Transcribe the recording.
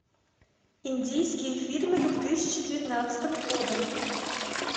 индийские фильмы две тысячи девятнадцатого года